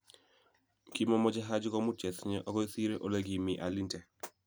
Kimimoche Haji komut chesinye okoi sire ole kimii alinte.